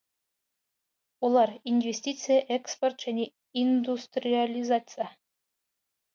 олар инвестиция экспорт және индустриализация